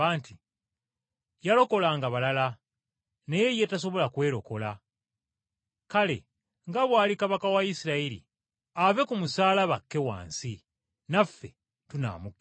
“Yalokolanga balala, naye ye tasobola kwerokola! Kale nga bw’ali Kabaka wa Isirayiri, ave ku musaalaba akke wansi, naffe tunaamukkiriza!